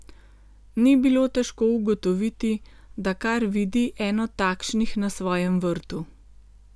Ni bilo težko ugotoviti, da kar vidi eno takšnih na svojem vrtu.